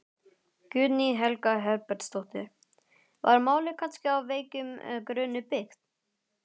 Guðný Helga Herbertsdóttir: Var málið kannski á veikum grunni byggt?